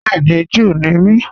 Bẹẹ̀ni, Júù ní mí.